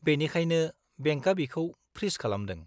-बेनिखायनो, बेंकआ बेखौ फ्रिज खालामदों।